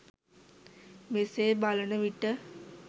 මෙසේ බලන විට